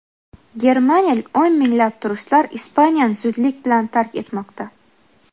Germaniyalik o‘n minglab turistlar Ispaniyani zudlik bilan tark etmoqda.